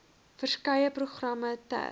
verskeie programme ter